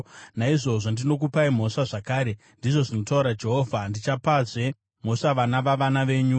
“Naizvozvo ndinokupai mhosva zvakare,” ndizvo zvinotaura Jehovha. “Ndichapazve mhosva vana vavana venyu.